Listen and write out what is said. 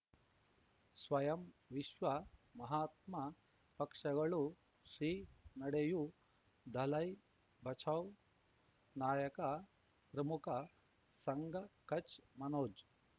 ಸ್ವಯಂ ವಿಶ್ವ ಮಹಾತ್ಮ ಪಕ್ಷಗಳು ಶ್ರೀ ನಡೆಯೂ ದಲೈ ಬಚೌ ನಾಯಕ ಪ್ರಮುಖ ಸಂಘ ಕಚ್ ಮನೋಜ್